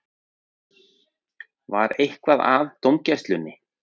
Var eitthvað að dómgæslunni?